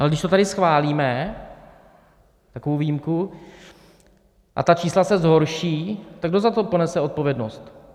Ale když to tady schválíme, takovou výjimku, a ta čísla se zhorší, tak kdo za to ponese odpovědnost?